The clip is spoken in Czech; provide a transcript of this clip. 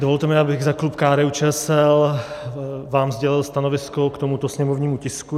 Dovolte mi, abych za klub KDU-ČSL vám sdělil stanovisko k tomuto sněmovnímu tisku.